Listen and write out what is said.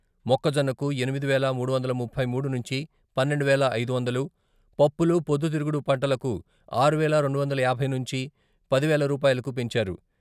మొక్కజొన్నకు ఎనిమిది వేల మూడు వందల ముప్పై మూడు నుంచి, పన్నెండు వేల ఐదు వందలు, పప్పులు, పొద్దు తిరుగుడు పంటలకు ఆరువేల రెండు వందల యాభై నుంచి, పది వేల రూపాయలకు పెంచారు.